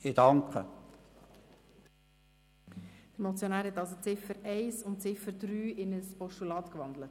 Hat der Motionär die Ziffern 1 und 3 in ein Postulat umgewandelt?